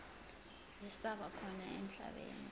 zisaba khona emhlabeni